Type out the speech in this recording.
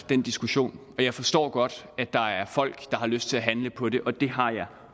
den diskussion og jeg forstår godt at der er folk der har lyst til at handle på det og det har jeg